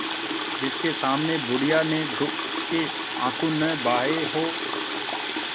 जिसके सामने बुढ़िया ने दुःख के आँसू न बहाये हां